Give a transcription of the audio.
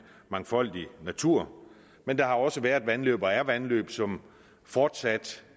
mangfoldig natur men der har også været vandløb og er vandløb som fortsat